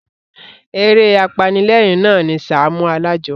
Eré apanilérìn na ni Sàámú Alájọ.